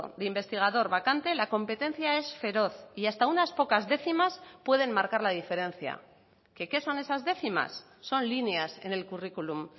de investigador vacante la competencia es feroz y hasta unas pocas décimas pueden marcar la diferencia que qué son esas décimas son líneas en el currículum